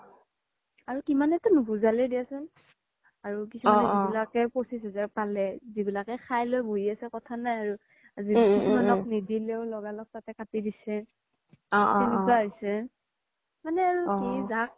আৰু কিমান তো নুবোজালেও দিয়াচোন আৰু কিছুমানে যি বিলাকে পঁচিছ হাজাৰ পালে যি বিলাকে খাই লই বহি আছে কথা নাই আৰু আৰু কিছুমানক নিদিলেও লগা লগ তাতে কাতি দিছে সেনেকুৱা হৈছে মানে আৰু কি